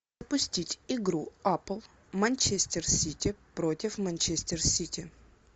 пустить игру апл манчестер сити против манчестер сити